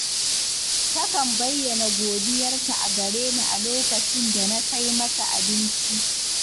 Takan bayyana godiyarta a gare ni a lokacin da na kai mata abinci